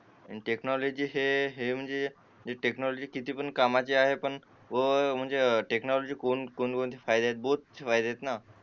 technology हे म्हणजे technology कामाची आहे पण म्हणजे टेक्नॉलॉजी म्हणजे कोणकोणते फायदे आहेत बहुत फायदे आहेत ना